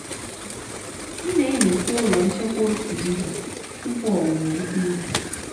m na-enyocha ụlọ nchekwa otu izu tupu owuwe ihe ubi.